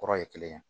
Kɔrɔ ye kelen ye